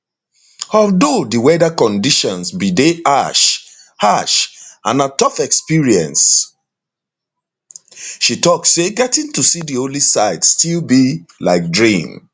although di weather conditions bin dey harsh harsh and na tough experience she tok say getting to see di holy site still be like dream